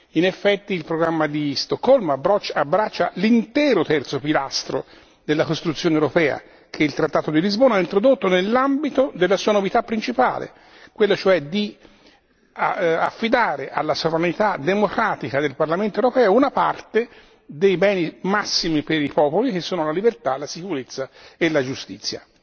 In effetti, il programma di Stoccolma abbraccia l'intero terzo pilastro della costruzione europea che il trattato di Lisbona ha introdotto nell'ambito della sua novità principale, quella cioè di affidare alla sovranità democratica del Parlamento europeo una parte dei beni massimi per i popoli che sono la libertà, la sicurezza e la giustizia.